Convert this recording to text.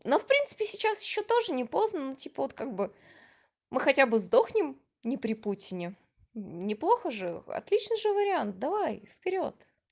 но в принципе сейчас ещё тоже не поздно ну типа вот как бы мы хотя бы сдохнем не при путине неплохо же отлично же вариант давай вперёд